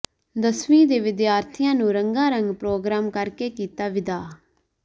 ਦਸਵੀਂ ਦੇ ਵਿਦਿਆਰਥੀਆਂ ਨੂੰ ਰੰਗਾਰੰਗ ਪ੍ਰੋਗਰਾਮ ਕਰਕੇ ਕੀਤਾ ਵਿਦਾ